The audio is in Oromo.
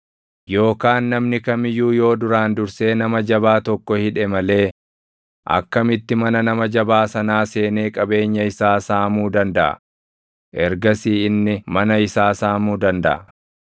“Yookaan namni kam iyyuu yoo duraan dursee nama jabaa tokko hidhe malee akkamitti mana nama jabaa sanaa seenee qabeenya isaa saamuu dandaʼa? Ergasii inni mana isaa saamuu dandaʼa.